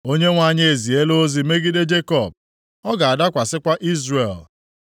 Onyenwe anyị eziela ozi megide Jekọb ọ ga-adakwasịkwa Izrel.